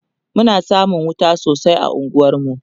Muna samun wuta sosai a unguwar mu